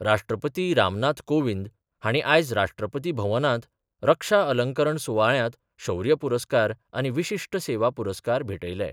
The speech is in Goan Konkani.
राष्ट्रपती रामनाथ कोविंद हांणी आयज राष्ट्रपती भवनांत रक्षा अलंकरण सुवाळ्यांत शौर्य पुरस्कार आनी विशिश्ट सेवा पुरस्कार भेटयले.